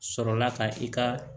Sɔrɔla ka i ka